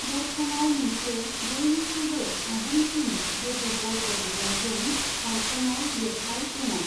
दर्खङाव मोनसे बयनिख्रुइबो आबुंसिन जदु बर्ग दब्लायजों दानख'नाय लिरथाय दङ'।